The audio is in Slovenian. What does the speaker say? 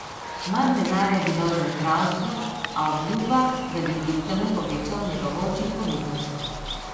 Manj denarja bi dal za zdravstvo, a obljublja, da bi kljub temu povečal njegovo učinkovitost.